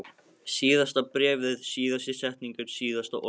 Síðasta bréfið, síðasta setningin, síðasta orðið.